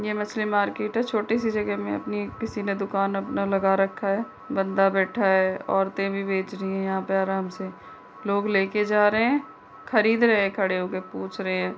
ये मछली मार्केट है। छोटी सी जगह में अपनी किसी ने दुकान अपना लगा रखा है। बंदा बैठा है। औरतें भी बेच रही हैं यहाँ पे आराम से। लोग लेके जा रहे हैं। खरीद रहे हैं। खड़े होके पूछ रहे हैं।